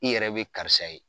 I yɛrɛ be karisa ye